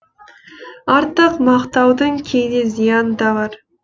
артық мақтаудың кейде зияны да бар